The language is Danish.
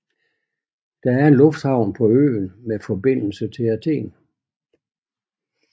Der er en lufthavn på øen med forbindelse til Athen